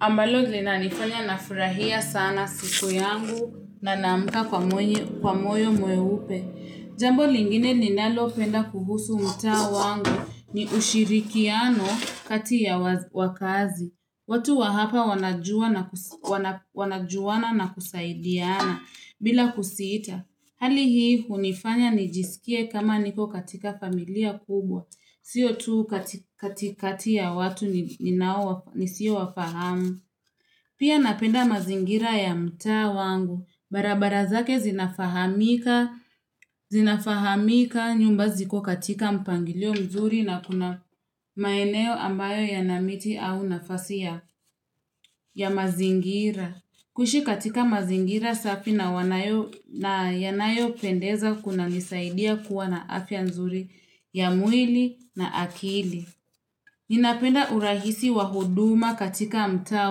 ambayo inanifanya nafurahia sana siku yangu na naamka kwa moyo mweupe. Jambo lingine ninalopenda kuhusu mta wangu ni ushirikiano kati ya wakazi. Watu wa hapa wanajuana na kusaidiana bila kusita. Hali hii hunifanya nijisikie kama niko katika familia kubwa. Sio tu katikati ya watu nisio wafahamu. Pia napenda mazingira ya mtaa wangu. Barabara zake zinafahamika nyumba ziko katika mpangilio mzuri na kuna maeneo ambayo yana miti au nafasi ya mazingira. Kuishi katika mazingira safi na yanayo pendeza kuna nisaidia kuwa na afya nzuri ya mwili na akili. Ninapenda urahisi wa huduma katika mtaa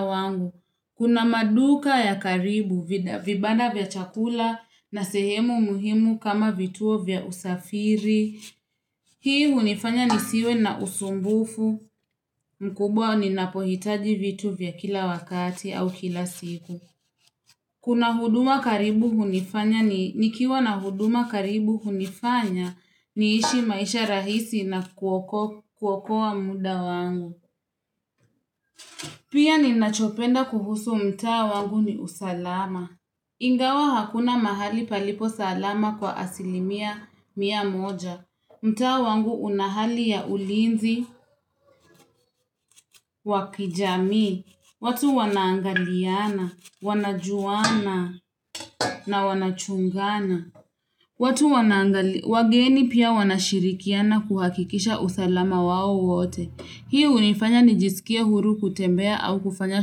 wangu. Kuna maduka ya karibu vibanda vya chakula na sehemu muhimu kama vituo vya usafiri. Hii unifanya nisiwe na usumbufu mkubwa ni napohitaji vitu vya kila wakati au kila siku. Kuna huduma karibu hunifanya ni nikiwa na huduma karibu hunifanya niishi maisha rahisi na kuokowa muda wangu. Pia ninachopenda kuhusu mtaa wangu ni usalama. Ingawa hakuna mahali palipo salama kwa asilimia mia moja. Mta wangu unahali ya ulinzi, wakijamii, watu wana angaliana, wanajuana na wanachungana. Watu wanangali, wageni pia wanashirikiana kuhakikisha usalama wawo wote. Hii hunifanya nijisikie huru kutembea au kufanya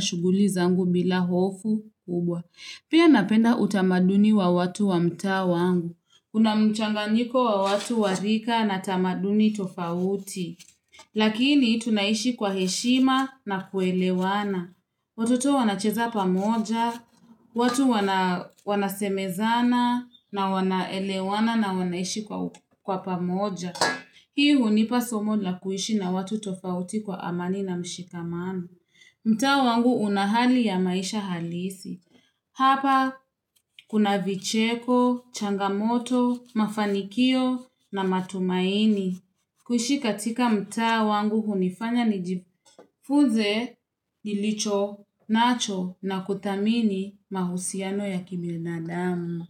shughuli zangu bila hofu kubwa. Pia napenda utamaduni wa watu wamtaa wangu. Kunamchanganyiko wa watu warika na tamaduni tofauti. Lakini tunaishi kwa heshima na kuelewana. Watoto wanacheza pamoja, watu wanasemezana na wanaelewana na wanaishi kwa pamoja. Hii hunipa somo la kuishi na watu tofauti kwa amani na mshikamano. Mtaa wangu una hali ya maisha halisi. Hapa kuna vicheko, changamoto, mafanikio na matumaini. Kuishi katika mta wangu hunifanya nijifuze, nilicho, nacho na kuthamini mahusiano ya kibinadamu.